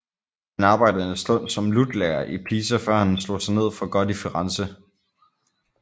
Han arbejdede en stund som lutlærer i Pisa før han slog sig ned for godt i Firenze